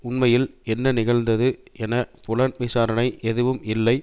உண்மையில் என்ன நிகழ்ந்தது என புலன் விசாரணை எதுவும் இல்லை